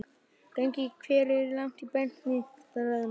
Gangi þér allt í haginn, Benidikta.